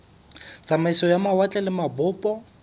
tsamaiso ya mawatle le mabopo